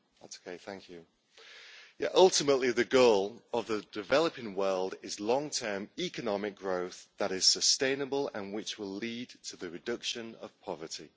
Madam President, ultimately, the goal of the developing world is long term economic growth that is sustainable and which will lead to the reduction of poverty.